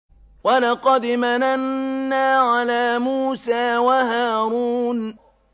وَلَقَدْ مَنَنَّا عَلَىٰ مُوسَىٰ وَهَارُونَ